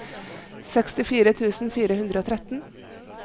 sekstifire tusen fire hundre og tretten